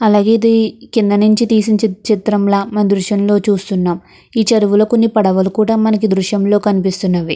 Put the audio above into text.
అలాగే కింద నుంచి తీసి చిత్రంలా దృశ్యం లో చూస్తున్నాం. ఈ చెరువులో కొన్ని పడవలు కూడా మనకి దృశ్యంలో కనిపిస్తున్నవే.